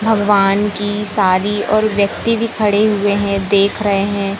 भगवान की सारी और व्यक्ति भी खड़े हुए हैं देख रहे हैं।